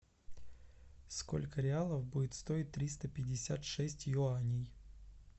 сколько реалов будет стоить триста пятьдесят шесть юаней